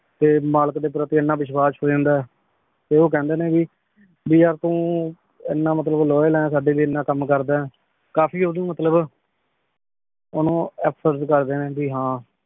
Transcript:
ਫੇਰ ਮਲਿਕ ਦੇ ਪ੍ਰਪੀ ਏਨਾ ਵਿਸ਼ਵਾਸ਼ ਹੋ ਜਾਂਦਾ ਆਯ ਫੇਰ ਊ ਕੇਹ੍ਨ੍ਡੇ ਨੇ ਭੀ ਭੀ ਯਾਰ ਤੂੰ ਏਨਾ ਮਤਲਬ loyal ਈਨ ਸਾਡੇ ਲੈ ਏਨਾ ਮਤਲਬ ਕਾਮ ਕਰਦਾ ਈਨ ਕਾਫੀ ਓਦੋਂ ਮਤਲਬ ਓਨੁ ਆ ਫਰਜ਼ ਕਰਦੇ ਨੇ ਭੀ ਹਾਂ